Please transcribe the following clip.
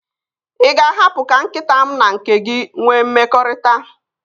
Ị ga-ahapụ ka nkịta m na nke gị nwee mmekọrịta?